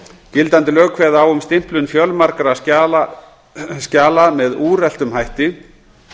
gildandi lög kveða á um stimplun fjölmargra skjala með úreltum hætti